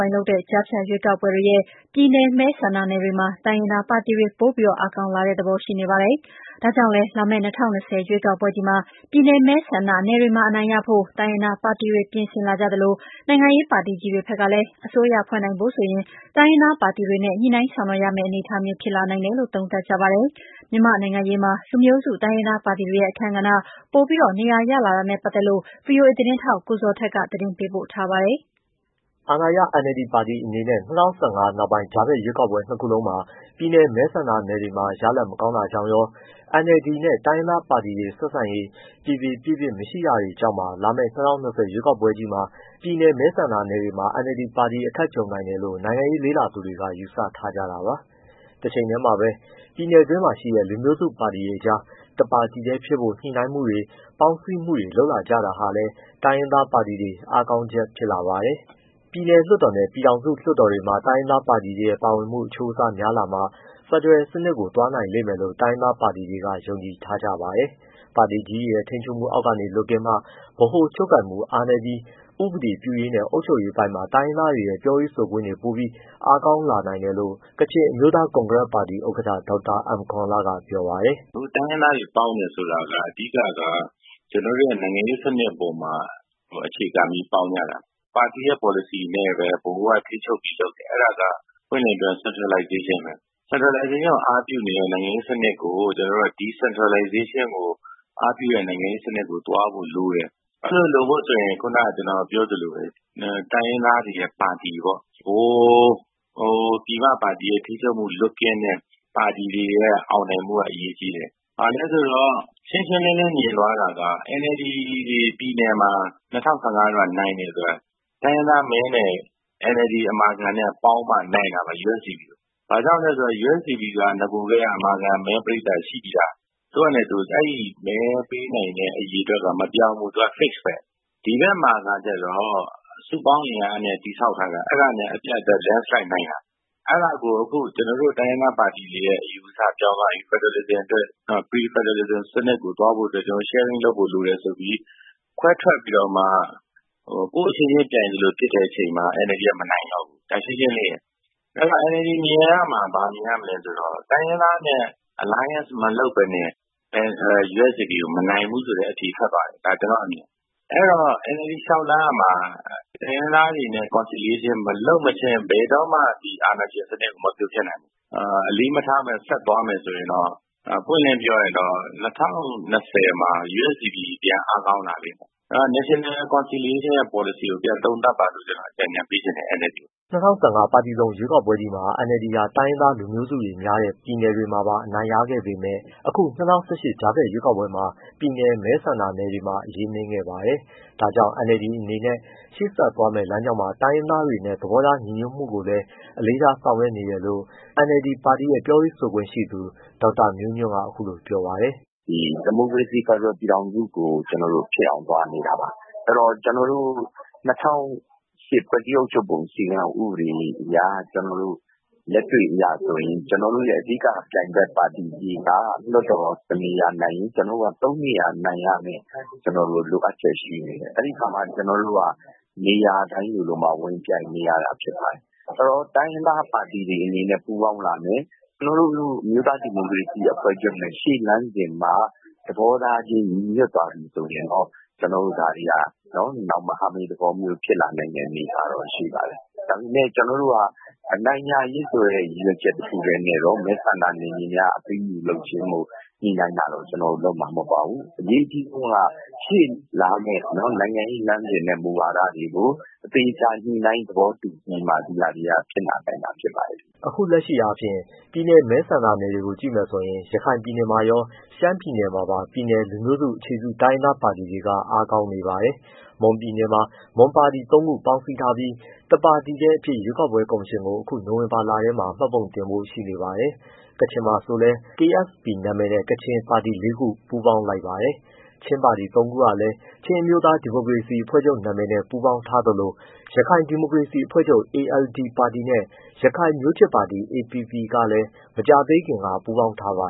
ိုင်းလုပ်တဲ့ ကြားဖြတ်ရွေးကောက်ပွဲတွေရဲ့ ပြည်နယ်မဲဆန္ဒနယ်တွေမှာ တိုင်းရင်းသားပါတီတွေ ပိုပြီး အားကောင်းလာတာသဘောရှိနေပါတယ်။ ဒါကြောင့်လည်း လာမယ့် ၂၀၂၀ ရွေးကောက်ပွဲကြီးမှာ ပြည်နယ်မဲဆန္ဒနယ်တွေမှာ အနိုင်ရဖို့ တိုင်းရင်းသားပါတီတွေ ပြင်ဆင်လာကြသလို၊ နိုင်ငံရေးပါတီကြီးတွေဖက်ကလည်း အစိုးရဖွဲ့နိုင်ဖို့ဆိုရင် တိုင်းရင်းသားပါတီတွေနဲ့ ညှိုနှိုင်းဆောင်ရွက်ရမယ့် အနေအထားမျိုးဖြစ်လာနိုင်တယ်လို့ သုံးသပ်ကြပါတယ်။ မြန်မာ့နိုင်ငံရေးမှာ လူမျိုးစုတိုင်းရင်းသားပါတီတွေရဲ့ အခန်းကဏ္ဍ ပိုပြီး နေရာရလာတာနဲ့ပတ်သက်လို့ ဗွီအိုအေ သတင်းထောက်ကိုဇော်ထက်က သတင်းပေးပို့ထားပါတယ်။ အာဏာရ NLD ပါတီအနေနဲ့ ၂၀၁၅ နောက်ပိုင်း ကြားဖြတ်ရွေးကောက်ပွဲ နှစ်ခုလုံး ပြည်နယ်မဲဆန္ဒနယ်တွေမှာ ရလဒ်မကောင်းခဲ့တာကြောင့် ရော၊ NLD နဲ့ တိုင်းရင်းသားပါတီတွေ ဆက်ဆံရေး ပြေပြေပြစ်ပြစ်မရှိတာတွေကြောင့်ပါ လာမယ့် ၂၀၂၀ ရွေးကောက်ပွဲကြီးမှာတော့ ပြည်နယ်မဲဆန္ဒနယ်တွေမှာ NLD ပါတီအခက်ကြုံနိုင်တယ်လို့ နိုင်ငံရေးလေ့လာသူတွေက ယူဆထားကြတာပါ။ တချိန်တည်းမှာလည်းပဲ ပြည်နယ်တွင်းရှိတဲ့ လူမျိုးစုပါတီတွေအကြား တပါတီတည်းဖြစ်ဖို့ ညှိုနှိုင်းမှုတွေ ပေါင်းစည်းမှုတွေလုပ်လာကြတာဟာလည်း တိုင်းရင်းသားပါတီတွေ အားကောင်းချက်ဖြစ်လာပါတယ်။ ပြည်နယ်လွှတ်တော်နဲ့ ပြည်ထောင်စုလွှတ်တော်တွေမှာ တိုင်းရင်းသားပါတီတွေရဲ့ ပါဝင်မှုအချိုးအစားများလာမှ ဖက်ဒရယ်စနစ်ကို သွားနိုင်လိမ့်မယ်လို့တိုင်းရင်းသား ပါတီတွေက ယုံကြည်ထားကြပါတယ်။ ပါတီကြီးတွေရဲ့ ထိန်းချုပ်မှုအောက်ကနေလွတ်ကင်းမှ ဗဟိုချုပ်ကိုင်မှုအားနည်းလာပြီး၊ ဥပဒေပြုရေးနဲ့ အုပ်ချုပ်ရေးပိုင်းမှာ တိုင်းရင်းသားတွေရဲ့ပြောရေးဆိုခွင့် တွေပိုပြီးအားကောင်းလာနိုင်တယ်လို့ ကချင်အမျိုးသား ကွန်ဂရက်ပါတီဥက္ကဋ္ဌ ဒေါက်တာအမ်ကောန်လ က ပြောပါတယ်။ “အခုတိုင်းရင်းသားတွေပေါင်းတယ်ဆိုတာက အဓိကက ကျွန်တော်တို့နိုင်ငံရေးစနစ်အပေါ်မှာ အခြေခံပြီး ပေါင်းကြတာ။ ပါတီရဲ့ပေါ်လစီနဲ့ပဲ ဗဟိုကထိန်းချုပ်ပြီးလုပ်တယ်။ အဲဒါကပွင့်ပွင့်လင်းလင်းပြောရင် centralization ပဲ။ Centralization ကိုအားပြုနေတဲ့ နိုင်ငံရေးစနစ်ကို ကျွန်တော်တို့က Decentralizationကို အားပြုတဲ့နိုင်ငံရေးစနစ်ကိုသွားဖို့ လိုတယ်။ အဲလိုလုပ်ဖို့ဆိုရင် ခုနကကျွန်တော်ပြောသလိုပဲ တိုင်းရင်းသားတွေရဲ့ပါတီပေါ့ ဗဟို ပြည်မပါတီရဲ့ ထိန်းချုပ်မှုလွတ်ကင်းတဲ့ ပါတီတွေရဲ့အောင်နိုင်မှုကအရေးကြီးတယ်။ ဘာလဲဆိုတော့ ရှင်းရှင်းလင်းလင်းမြင်သွားတာက NLD ပြည်နယ်တွေမှာ ၂၀၁၅ တုန်းကနိုင်တယ်ဆိုတာ တိုင်းရင်းသားမဲနဲ့ NLD အမာခံနဲ့ပေါင်းမှ နိုင်တာပါ USDPကို ဘာကြောင့်လဲဆိုတော့ USDPက အမာခံမဲ ပရိတ်သတ်ရှိပြီးသား။ အဲဒီမဲပေးနိုင်တဲ့အရေအတွက်က မပြောင်းဘူး သူက Fixed ပဲ။ ဒီဘက်မှကျတော့ စုပေါင်းအင်အားနဲ့တည်ဆောက်ထားတာ အဲဒါနဲ့အပြိုင်သူက Landslide နိုင်တာ။ အဲဒါကိုအခု ကျွန်တော်တို့ တိုင်းရင်းသားပါတီတွေရဲ့ အယူအဆပြောင်းသွားပြီ ဖက်ဒရယ်လစ်ဇင်အတွက်။ နောက် pre-federalism စနစ်ကိုသွားဖို့ အတွက် ကျွန်တော်တို့ sharing လုပ်ဖို့လိုတယ်ဆိုပြီး ခွဲထွက်ပြီးတော့မှ ကိုယ့်အချင်းချင်းပြိုင်သလိုဖြစ်တဲ့အချိန်မှာ NLDက မနိုင်လောက်ဘူး။ ဒါရှင်းရှင်းလေးရယ်။ အဲဒီတော့ NLD မြင်ရမှာ ဘာမြင်ရမလဲဆိုတော့ တိုင်းရင်းသားနဲ့ Alliance မလုပ်ဘဲနဲ့ USDPကို မနိုင်ဘူးဆိုတဲ့ အဖြေထွက်သွားပြီ ဒါကျွန်တော့်အမြင်။ အဲဒီတော့ NLD လျှောက်လှမ်းရမှာ တိုင်းရင်းသားတွေနဲ့ conciliation မလုပ်ဘဲ ဘယ်တော့မှ ဒီအာဏာရှင်စနစ်ကို မဖြိုဖျက်နိုင်ဘူး။ အလေးမထားဘဲ ဆက်သွားမယ်ဆိုရင်တော့ ပွင့်ပွင့်လင်းလင်းပြောရရင် ၂၀၂၀မှာ USDP ပြန်အားကောင်းလာလိမ့်မယ်။ အဲဒီတော့ National Conciliation ရဲ့ပေါ်လစီကိုပြန်သုံးသပ်ပါလို့ အကြံပေးချင်တယ် NLDကို” ၂၀၁၅ ပါတီစုံရွေးကောက်ပွဲကြီးမှာ NLD ဟာ တိုင်းရင်းသားလူမျိုးစုတွေများတဲ့ ပြည်နယ်တွေမှာပါ အနိုင်ရခဲ့ပေမဲ့ အခု ၂၀၁၈ ကြားဖြတ်ရွေးကောက်ပွဲမှာ ပြည်နယ်မဲဆန္ဒနယ်တွေမှာ အရေးနိမ့်ခဲ့ပါတယ်။ ဒါကြောင့် NLD အနေနဲ့ ရှေ့ဆက်သွားမယ့် လမ်းကြောင်းမှာ တိုင်းရင်းသားတွေနဲ့ သဘောထားညီညွတ်မှုရဖို့ကိုလည်း အလေးထားဆောင်ရွက်နေတယ်လို့ NLD ပါတီရဲ့ပြောရေးဆိုခွင့်ရှိသူ ဒေါက်တာမျိုးညွန့်က အခုလိုပြောပါတယ်။ “ဒီမိုကရေစီ ဖက်ဒရယ်ပြည်ထောင်စုကို ကျွန်တော်တို့ဖြစ်အောင်သွားနေတာပါ။ အဲဒီတော့ကျွန်တော်တို့ ၂၀၀၈ ဖွဲ့စည်းအုပ်ချုပ်ပုံအခြေခံ ဥပဒေအရ လက်တွေ့အရဆိုရင် ကျွန်တော်တို့အဓိကပြိုင်ဘက်ပါတီတွေက လွှတ်တော်တစ်နေရာနိုင်ရင် ကျွန်တော်တို့ကသုံးနေရာနိုင် ရမယ့် လိုအပ်ချက်ရှိနေတယ်။ အဲဒီတော့ ကျွန်တော်တို့က နေရာတိုင်းလိုလိုမှာဝင်ပြိုင်နေရတာဖြစ်ပါတယ်။ အဲဒီတော့တိုင်းရင်းသား ပါတီတွေအနေနဲ့ပူးပေါင်းလာမယ် ကျွန်တော်တို့ အမျိုးသားဒီမိုကရေစီအဖွဲ့ချုပ်နဲ့ ရှေ့လမ်းစဉ်မှာ သဘောထားချင်းညီညွှတ်သွားပြီ ဆိုရင်တော့ ကျွန်တော်တို့ဒါတွေဟာ မဟာမိတ်သဘောမျိုးဖြစ်လာနိုင်တဲ့ အနေအထားရှိပါတယ်။ ဒါပေမဲ့ ကျွန်တော်တို့က အနိုင်ရရေး ရည်ရွယ်ချက်နဲ့တစ်ခုတည်းနဲ့တော့ မဲဆန္ဒနယ်မြေများအပေးအယူလုပ်ခြင်းကို ညှိနှိုင်းတာတော့ ကျွန်တော်တို့လုပ်မှာမဟုတ်ပါဘူး။ အရေးအကြီးဆုံးက ရှေ့လာမယ့် နိုင်ငံရေးလမ်းစဉ်နဲ့ မူဝါဒတွေကို အသေအချာညှိနှိုင်းသဘောတူပြီးမှ ဒါတွေဟာဖြစ်လာနိုင်မှာ ဖြစ်ပါတယ်။ အခုလက်ရှိအားဖြင့် ပြည်နယ်မဲဆန္ဒနယ်တွေကြည့်ရင် ရခိုင်ပြည်နယ်မှာရော ရှမ်းပြည်နယ်မှာပါ ပြည်နယ်လူမျိုးစုအခြေပြု တိုင်းရင်းသားပါတီတွေက အားကောင်းနေပါတယ်။ မွန်ပြည်နယ်မှာတော့ မွန်ပါတီသုံးပေါင်းပေါင်းစည်းထားပြီး၊ တပါတီတည်းအဖြစ် ရွေးကောက်ပွဲကော်မရှင်ကို အခု နိုဝင်ဘာလထဲမှာ မှတ်ပုံတင်ဖို့ ရှိနေပါတယ်။ ကချင်မှာဆိုလည်း KSP အမည်န့ ကချင်ပါတီလေးခု ပူးပေါင်းလိုက်ပါတယ်။ ချင်းပါတီသုံးခုလည်း ချင်းအမျိုးသားဒီမိုကရေစီအဖွဲ့ချုပ်နာမည်နဲ့ ပူးပေါင်းထားသလို ရခိုင်ဒီမိုကရေစီအဖွဲ့ချုပ် ALD ပါတီနဲ့ ရခိုင်မျိုးချစ်ပါတီ APP ကလည်း မကြာသေးခင်က ပူးပေါင်းထားပါ